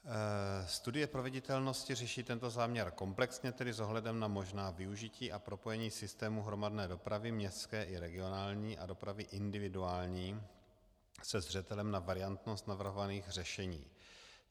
Studie proveditelnosti řeší tento záměr komplexně, tedy s ohledem na možná využití a propojení systému hromadné dopravy městské i regionální a dopravy individuální se zřetelem na variantnost navrhovaných řešení.